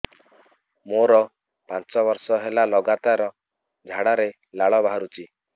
ମୋରୋ ପାଞ୍ଚ ବର୍ଷ ହେଲା ଲଗାତାର ଝାଡ଼ାରେ ଲାଳ ବାହାରୁଚି